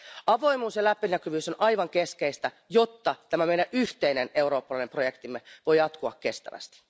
Avoimuus ja läpinäkyvyys on aivan keskeistä, jotta tämä yhteinen eurooppalainen projektimme voi jatkua kestävästi.